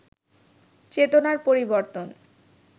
চেতনার পরিবর্তন